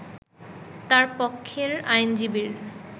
তাঁর পক্ষের আইনজীবীর